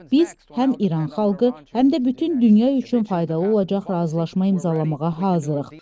Biz həm İran xalqı, həm də bütün dünya üçün faydalı olacaq razılaşma imzalamağa hazırıq.